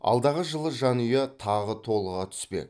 алдағы жылы жанұя тағы толыға түспек